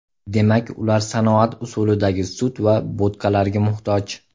Demak, ular sanoat usulidagi sut va bo‘tqalarga muhtoj.